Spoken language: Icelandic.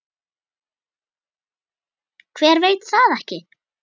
Hver veit það ekki?